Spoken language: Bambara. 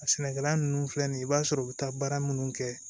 A sɛnɛkɛla nunnu filɛ nin ye i b'a sɔrɔ u be taa baara munnu kɛ